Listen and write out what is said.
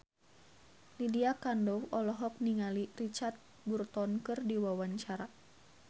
Lydia Kandou olohok ningali Richard Burton keur diwawancara